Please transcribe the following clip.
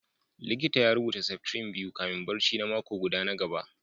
likita ya rubuta septrin biyu kafin barci na mako guda na gaba